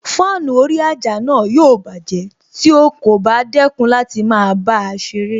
Fáànù orí àjà náà yóò bájẹ̀ tí o kò bá dẹ́kun láti máa bá a ṣeré